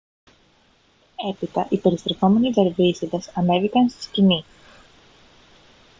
έπειτα οι περιστρεφόμενοι δερβίσηδες ανέβηκαν στη σκηνή